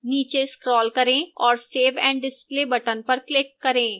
नीचे scroll करें और save and display button पर click करें